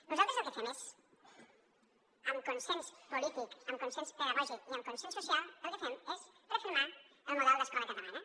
nosaltres el que fem és amb consens polític amb consens pedagògic i amb consens social refermar el model d’escola catalana